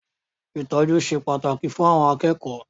Ìtọ́jú ṣe pàtàkì fún àwọn akẹ́kọ̀ọ́.